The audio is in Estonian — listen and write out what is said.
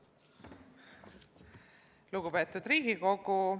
Lugupeetud Riigikogu!